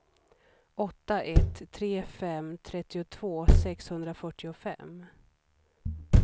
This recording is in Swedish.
åtta ett tre fem trettiotvå sexhundrafyrtiofem